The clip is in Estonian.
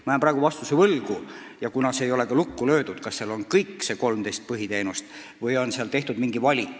Ma jään praegu võlgu vastuse, kas seal on hõlmatud kõik 13 põhiteenust või on tehtud mingi valik.